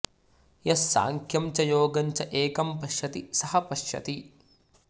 यः साङ्ख्यं च योगं च एकं पश्यति सः पश्यति